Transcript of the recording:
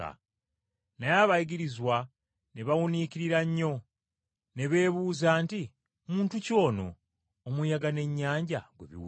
Naye abayigirizwa ne bawuniikirira nnyo! Ne beebuuza nti, “Muntu ki ono, omuyaga n’ennyanja gwe bigondera?”